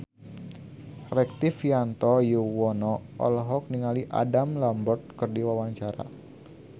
Rektivianto Yoewono olohok ningali Adam Lambert keur diwawancara